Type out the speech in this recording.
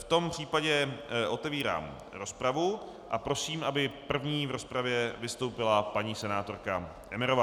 V tom případě otevírám rozpravu a prosím, aby první v rozpravě vystoupila paní senátorka Emmerová.